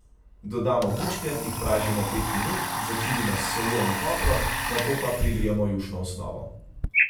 Dodamo bučke, jih pražimo pet minut, začinimo s soljo in poprom, nato pa prilijemo jušno osnovo.